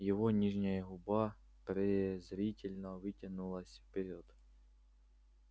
его нижняя губа презрительно вытянулась вперёд